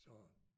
Så